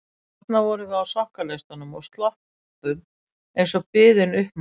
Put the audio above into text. Og þarna vorum við á sokkaleistum og sloppum eins og biðin uppmáluð.